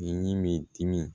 I ni m'i dimi